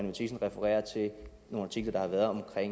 matthiesen refererer til nogle artikler der har været om